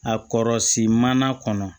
A kɔrɔsiman kɔnɔ